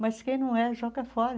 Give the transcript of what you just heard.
Mas quem não é, joga fora.